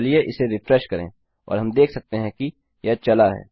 चलिए उसे रिफ्रेश करें और हम देख सकते हैं कि यह चला है